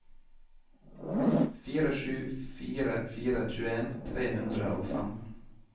fire sju fire fire tjueen tre hundre og fem